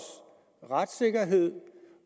retssikkerhed